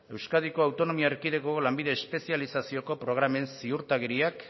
euskadiko autonomia erkidegoko lanbide espezializazioko programen ziurtagiriak